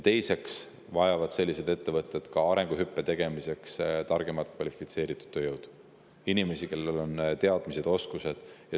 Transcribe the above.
Teiseks vajavad ettevõtted arenguhüppe tegemiseks targemat kvalifitseeritud tööjõudu, inimesi, kellel on teadmised ja oskused.